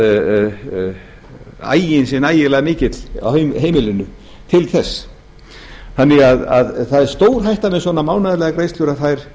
ekki víst að aginn sé nægilega mikill á heimilinu til þess þannig að það er stórhætta með svona mánaðarlegar greiðslur að þær